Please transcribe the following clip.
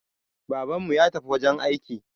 Babanmu ya tafi wajen aiki